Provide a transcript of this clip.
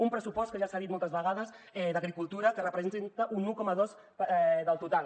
un pressupost que ja s’ha dit moltes vegades d’agricultura que representa un un coma dos del total